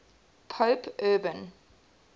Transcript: pope urban